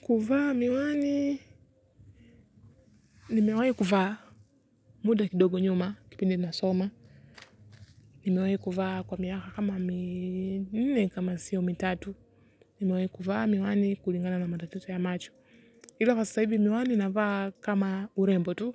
Kuvaa miwani, nimewahi kuvaa muda kidogo nyuma, kipindi nasoma, nimewahi kuvaa kwa miaka kama minne kama sii mitatu. Nimewahi kuvaa miwani kulingana na matatizo ya macho. Ila kwa sasa hivi miwani navaa kama urembo tu,